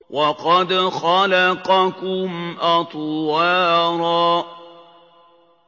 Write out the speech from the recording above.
وَقَدْ خَلَقَكُمْ أَطْوَارًا